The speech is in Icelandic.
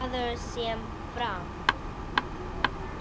Hann er maður sem fram